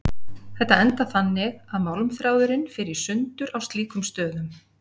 Þetta endar þannig að málmþráðurinn fer í sundur á slíkum stöðum.